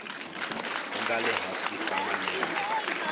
nga le hansi ka malembe